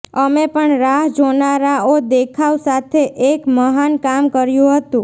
અમે પણ રાહ જોનારાઓ દેખાવ સાથે એક મહાન કામ કર્યું હતું